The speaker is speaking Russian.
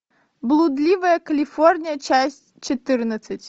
блудливая калифорния часть четырнадцать